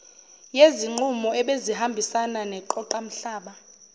yezinqubo ebezihambisana neqoqamhlaba